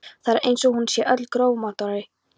Það er eins og hún sé öll grófkornóttari.